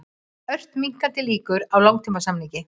Ört minnkandi líkur á langtímasamningi